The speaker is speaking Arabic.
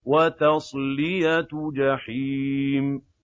وَتَصْلِيَةُ جَحِيمٍ